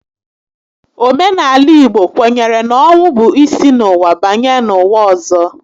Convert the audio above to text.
Omenaala Igbo kwenyere na ọnwụ bụ isi n'ụwa banye n'ụwa ọzọ